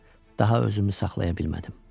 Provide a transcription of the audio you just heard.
Daha özümü saxlaya bilmədim.